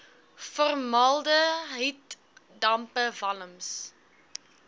formaldehied dampe walms